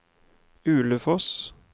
Ulefoss